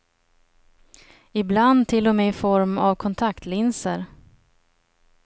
Ibland till och med i form av av kontaktlinser.